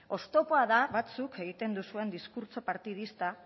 oztopoa da batzuk egiten duzuen diskurtso partidista